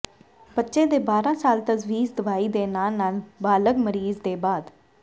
ਬੱਚੇ ਦੇ ਬਾਰ੍ਹਾ ਸਾਲ ਤਜਵੀਜ਼ ਦਵਾਈ ਦੇ ਨਾਲ ਨਾਲ ਬਾਲਗ ਮਰੀਜ਼ ਦੇ ਬਾਅਦ